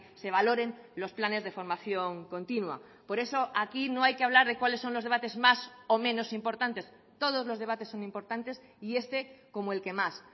se valoren los planes de formación continua por eso aquí no hay que hablar de cuáles son los debates más o menos importantes todos los debates son importantes y este como el que más